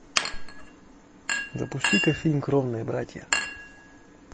запусти ка фильм кровные братья